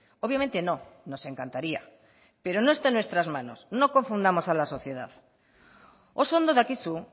obviamente no nos encantaría pero no está en nuestras manos no confundamos a la sociedad oso ondo dakizu